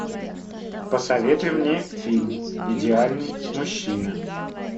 посоветуй мне фильм идеальный мужчина